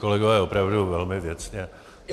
Kolegové, opravdu velmi věcně.